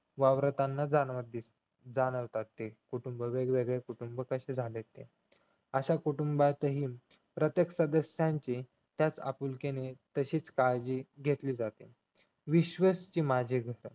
वावरताना जाणवते जाणवततात ते कुटुंब वेगवेगळे कुटुंब कसे झालेत ते अशा कुटुंबातील प्रत्येक सदस्यांची त्याच आपुलकीने तशीच काळजी घेतली जाते विश्वची माझे घर